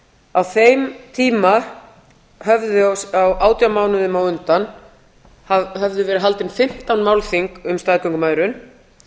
á þeim tíma á átján mánuðum á undan höfðu verið haldið fimmtán málþing um staðgöngumæðrun